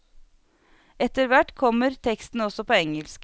Etterhvert kommer teksten også på engelsk.